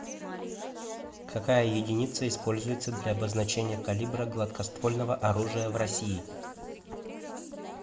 какая единица используется для обозначения калибра гладкоствольного оружия в россии